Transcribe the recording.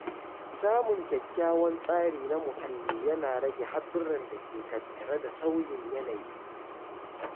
Samun kyakkyawan tsari na muhalli yana rage haɗurran da ke tattare da sauyin yanayi.